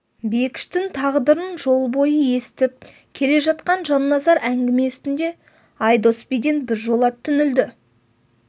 бекіштің тағдырын жол бойы естіп келе жатқан жанназар әңгіме үстінде айдос биден бір жола түңілді